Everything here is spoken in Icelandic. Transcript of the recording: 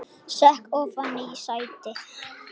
Sekk ofan í sætið.